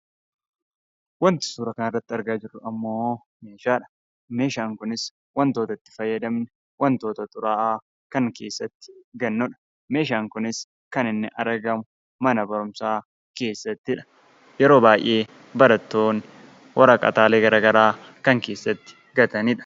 Waanti suura kana irratti argaa jirru, immoo meeshaadha. Meeshaan kunis waantota itti fayyadamnu, wantoota xuraawaa kan keessatti gad naqnu. Meeshaan Kunis kan inni argamu mana barumsaa keessattidha. Yeroo baayyee barattoonni waraqaalee garaagaraa kan keessatti gatanidha.